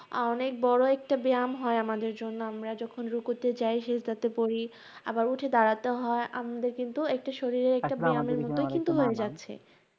অনেক বড় একটা ব্যায়াম হয় আমাদের জন্য, আমরা যখন রুকুতে যাই, সেজদাতে পড়ি, আবার উঠে দাঁড়াতে হয়। আমাদের কিন্তু একটা শরীরের একটা ব্যায়াম এর মতোই কিন্তু হয়ে যাচ্ছে।